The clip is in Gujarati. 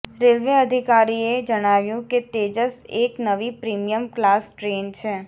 રેલવે અધિકારીએ જણાવ્યું કે તેજસ એક નવી પ્રિમિયમ ક્લાસ ટ્રેન છે